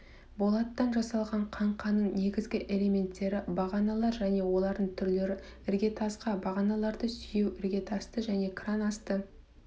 болаттан жасалған қаңқаның негізгі элементтері бағаналар және олардың түрлері іргетасқа бағаналарды сүйеу іргетасты және кран асты